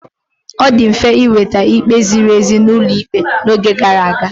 Ọ dị mfe ịnweta ikpe ziri ezi n'ụlọ ikpe n'oge gara aga.